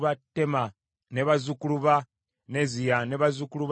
bazzukulu ba Neziya, ne bazzukulu ba Katifa.